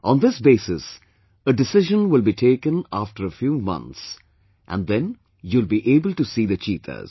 On this basis a decision will be taken after a few months and then you will be able to see the cheetahs